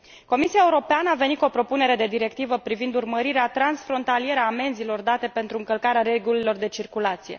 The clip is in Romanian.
Comisia Europeană a venit cu o propunere de directivă privind urmărirea transfrontalieră a amenzilor date pentru încălcarea regulilor de circulație.